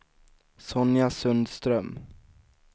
Sonja Sundström